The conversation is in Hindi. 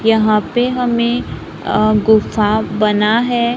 यहां पे हमें अ गुफा बना है।